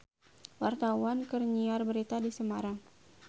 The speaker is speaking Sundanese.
Wartawan keur nyiar berita di Semarang